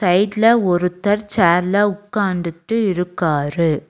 ரைட்ல ஒருத்தர் சேர்ல உக்காந்துட்டு இருக்காரு.